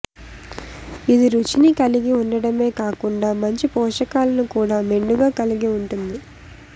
ఇది రుచిని కలిగి ఉండడమే కాకుండా మంచి పోషకాలను కూడా మెండుగా కలిగి ఉంటుంది